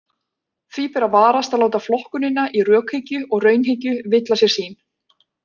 Því ber að varast að láta flokkunina í rökhyggju og raunhyggju villa sér sýn.